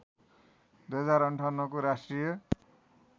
२०५८ को राष्ट्रिय